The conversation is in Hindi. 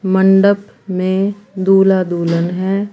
मंडप में दूल्हा दुल्हन है।